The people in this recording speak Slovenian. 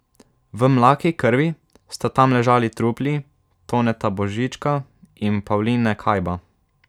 V mlaki krvi sta tam ležali trupli Toneta Božička in Pavline Kajba.